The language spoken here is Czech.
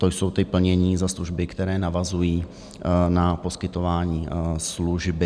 To jsou ta plnění za služby, které navazují na poskytování služby.